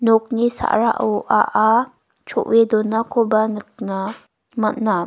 nokni sa·rao a·a cho·e donakoba nikna man·a.